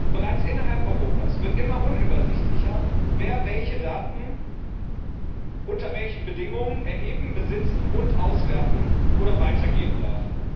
Bereits innerhalb Europas wird immer unübersichtlicher, wer welche Daten unter welchen Bedingungen erheben, besitzen, auswerten oder weitergeben darf.